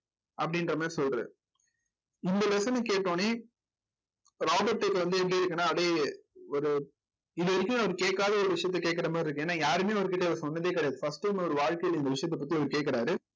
அப்படின்ற மாதிரி சொல்றாரு இந்த lesson அ கேட்ட உடனே ராபர்ட்க்கு வந்து எப்படி இருக்குன்னா அப்படியே ஒரு இது வரைக்கும் அவரு கேட்காத, ஒரு விஷயத்தை கேட்கிற மாதிரி இருக்கு ஏன்னா யாருமே அவர்கிட்ட இத சொன்ன கிடையாது first time ஒரு வாழ்க்கையில இந்த விஷயத்த பத்தி இவரு கேக்குறாரு